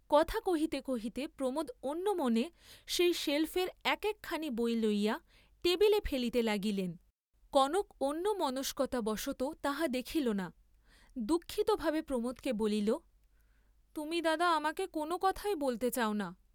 কথা কহিতে কহিতে প্রমোদ অন্যমনে সেই সেল্‌ফের এক একখানি বই লইয়া টেবিলে ফেলিতে লাগিলেন, কনক অন্যমনস্কতা বশতঃ তাহা দেখিল না; দুঃখিত ভাবে প্রমোদকে বলিল, তুমি দাদা আমাকে কোন কথাই বলতে চাও না।